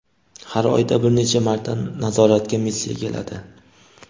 Xar oyda bir necha marta nazoratga missiya keladi.